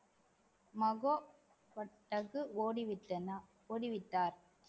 பட்டது ஓடிவிட்டன ஓடிவிட்டார்